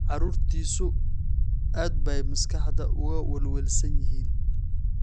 Carruurtiisu aad bay maskaxda uga welwelsan yihiin.